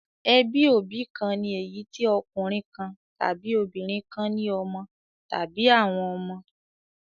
Ẹbí òbí kan ni èyí tí ọkùnrin kan tàbí obìnrin kan ní ọmọ tàbí àwọn ọmọ.